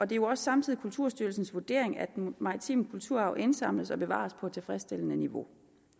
det er jo også samtidig kulturstyrelsens vurdering at den maritime kulturarv indsamles og bevares på et tilfredsstillende niveau